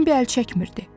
Bembi əl çəkmirdi.